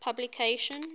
publication